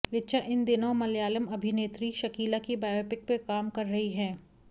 ऋचा इन दिनों मलयालम अभिनेत्री शकीला की बायोपिक पर काम कर रही हैं